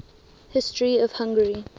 history of hungary